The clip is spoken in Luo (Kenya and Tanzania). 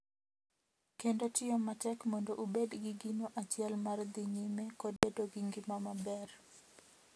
Kendo tiyo matek mondo ubed gi gino achiel mar dhi nyime kod bedo gi ngima maber.